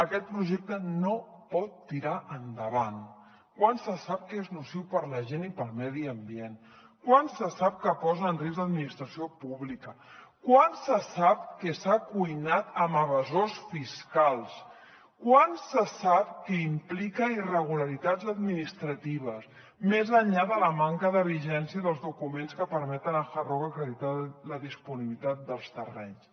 aquest projecte no pot tirar endavant quan se sap que és nociu per a la gent i per al medi ambient quan se sap que posa en risc l’administració pública quan se sap que s’ha cuinat amb evasors fiscals quan se sap que implica irregularitats administratives més enllà de la manca de vigència dels documents que permeten a hard rock acreditar la disponibilitat dels terrenys